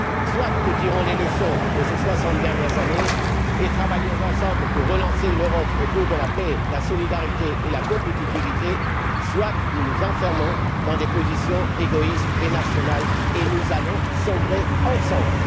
Soit nous tirons les leçons de ces soixante dernières années et travaillons ensemble pour relancer une Europe autour de la paix, de la solidarité et de la compétitivité, soit nous nous enfermons dans des positions égoïstes et nationales, et nous sombrerons ensemble!